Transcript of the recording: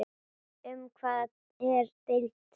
Um hvað er deilt?